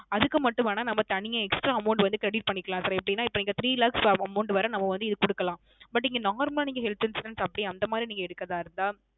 அதுக்கு மட்டும் வேண நம்ம தனியா Extra Amount Credit பண்ணிக்கலாம் Sir எப்படின இப்போ Three Lakhs Amount வர நம்ம வந்து இது கொடுக்கலாம் But இங்க Normal Health Insurance அப்படி அந்த மாதிரி எடுக்குறதா இருந்தா